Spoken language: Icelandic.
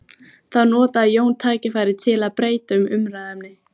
Þá notaði Jón tækifærið til að breyta um umræðuefni.